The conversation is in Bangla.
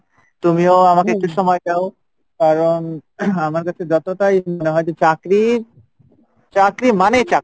তুমিও আমাকে একটু সময় আমার কাছে যোতটাই মনে হয় যে চাকরি মানে চাকুরে।